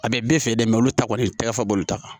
A bɛ bɛɛ fɛ dɛ olu ta kɔni tɛgɛ fɔ bolo ta kan